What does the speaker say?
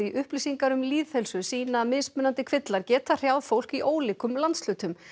upplýsingar um lýðheilsu sýna að mismunandi kvillar geta hrjáð fólk í ólíkum landshlutum